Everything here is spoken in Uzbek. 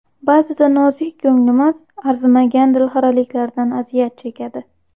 Ba’zida nozik ko‘nglimiz arzimagan dilxiraliklardan aziyat chekadi.